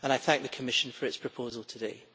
I thank the Commission for its proposal today.